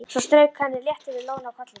Svo strauk hann létt yfir lóna á kollinum.